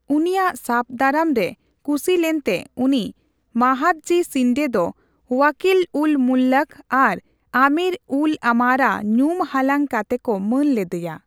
ᱩᱱᱤᱭᱟᱜ ᱥᱟᱵᱫᱟᱨᱟᱢ ᱨᱮ ᱠᱩᱥᱤᱞᱮᱱᱛᱮ, ᱩᱱᱤ ᱢᱟᱦᱟᱫᱽᱡᱤ ᱥᱤᱱᱰᱮ ᱫᱚ ᱳᱣᱟᱠᱤᱞᱼᱩᱞᱼᱢᱩᱛᱞᱟᱠ ᱟᱨ ᱟᱢᱤᱨᱼᱩᱞᱼᱟᱢᱟᱨᱟ ᱧᱩᱢ ᱦᱟᱞᱟᱝ ᱠᱟᱛᱮᱠᱚ ᱢᱟᱹᱱ ᱞᱮᱫᱮᱭᱟ ᱾